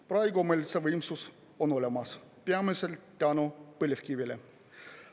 Praegu meil on see võimsus olemas peamiselt tänu põlevkivile.